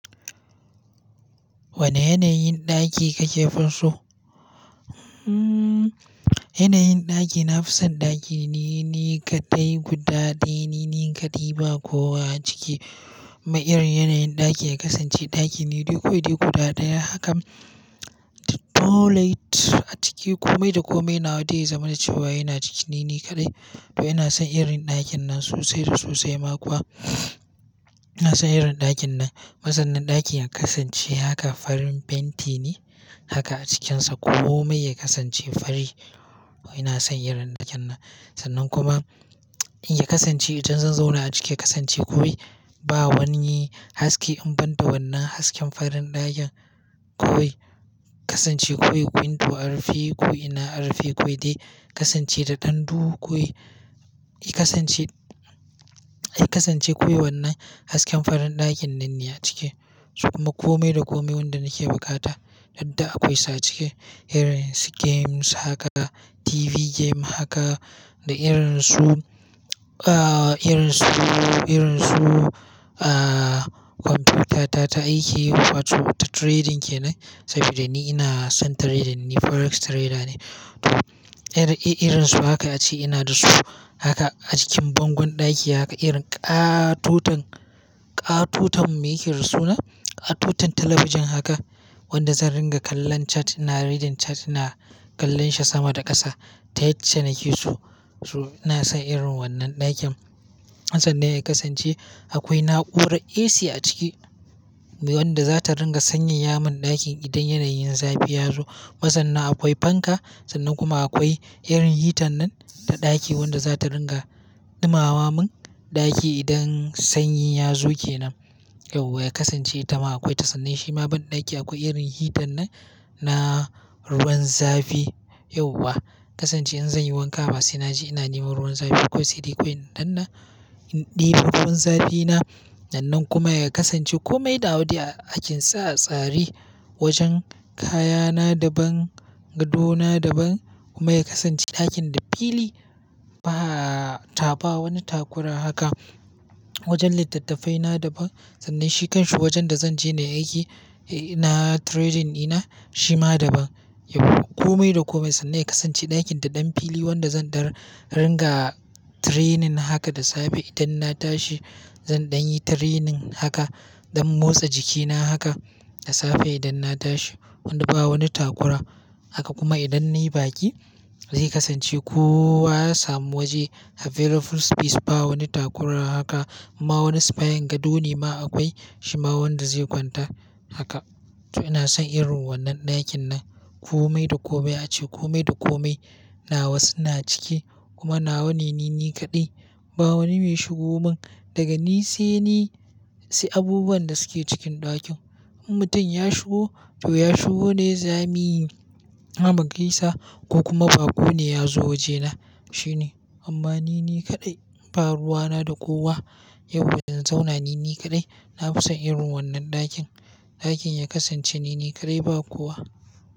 Wane yanayin ɗaki ka ke fo so? Hmm, yanayin ɗaki, na fi son ɗaki nini kaɗai, guda ɗaya, nini kaɗai ba kowa a ciki. Ma'anar yanayin ɗaki ya kasance ɗaki nili koyi dai guda ɗaya. Haka toilet a ciki kome da kome nawa dai ya zama da cewa yana cikin nini kaɗai. To ina son irin ɗakin nan sosai da sosai ma kuwa. Ina son irin ɗakin nan. Ma sannan ɗakin ya kasance haka, farin fenti ne haka a cikinsa kome ya kasance fari. To ina son irin ɗakin nan. Sannan kuma in ya kasance idan zan zauna a ciki ya kasance kowi ba wani haske, in ban da wannan hasken farin ɗakin kowi. Kasance kowi window a rufe ko ina a rufe koyi dai. Kasance da ɗan duhu koyi. I kasance, I kasance koyi wannan hasken farin ɗakin nan ne a ciki. Kuma kome da kome wanda nake bukata yadda akwai sa a ciki. Irin su games haka, TV game haka da irin su, ah irin su, irin su ah komfiyuta ta ta aiki wato ta trading kenan. Sabida ni inason trading ni forex trader ne irin irinsu haka ace inada su haka a jikin bangon ɗaki haka irin ƙatoton ƙatoton mai yake da suna. Ƙatoton talabijin haka wanda zan ringa kallon chat, ina reading chat ina kallon shi sama da ƙasa. Ta yacca nake so. To ina son irin wannan ɗakin. Sannan ya kasance akwai na'urar AC a ciki wadda za ta ringa sanyaya mun ɗakin idan yanayin zafi ya zo. Kuma sannan akwai fanka sannan kuma akwai irin hitan nan ta ɗaki wadda za ta ringa dumama mun ɗaki idan sanyi ya zo kenan. Yauwa ya kasance ita ma akwai ta sannin shi ma banɗaki akwai irin hitan nan na ruwan zafi. Yauwa kasance in zan yi wanka ba sai na je ina neman ruwan zafi koyi sai dai koyi in danna, i ɗebo ruwan zafi na. Sannan kuma ya kasance kome da nawa a cikin sa a tsare wajen kayana daban, gado na daban kuma ya kasance ɗakin da fili ba, ta ba wani takura haka. Wajen littattafai na daban sannan shi kan shi wajen da zan je nayi aiki, eh ina trading ina shi ma daban. Yauwa kome da kome sannan ya kasance ɗakin da ɗan fili wanda zan ringa training haka da safe idan na tashi. Zan ɗan yi training haka don motsa jiki na haka da safe idan na tashi. Wanda ba wani takura haka kuma idan nayi baƙi zai kasance kowa ya samu waje available space ba wani takura haka Ma wani sifayan gado ne ma akwai shi ma wanda zai kwanta haka. To ina son irin wannan ɗakin nan kome da kome ace kome da kome nawa suna ciki kuma nawa nini kaɗai. Ba wani mai shigo mun daga ni sai ni, sai abubuwan da suke cikin ɗakin. In mutum ya shigo to ya shigo ne za mi, zami gaisa ko kuma baƙo ne ya zo waje na shine. Amma ni ni kaɗai ba ruwa na da kowa. Yauwa zan zauna ni ni kaɗai. Na fi son irin wannan ɗakin. Ɗakin ya kasance nini kaɗai ba kowa.